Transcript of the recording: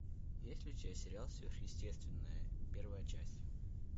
есть ли у тебя сериал сверхъестественное первая часть